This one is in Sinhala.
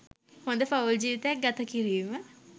හොඳ පවුල් ජීවිතයක් ගත කිරීම